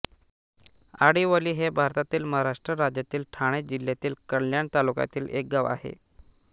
आडिवली हे भारतातील महाराष्ट्र राज्यातील ठाणे जिल्ह्यातील कल्याण तालुक्यातील एक गाव आहे